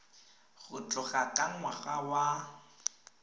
go tloga ka ngwaga wa